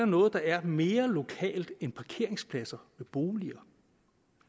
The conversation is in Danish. noget der er mere lokalt end parkeringspladser ved boliger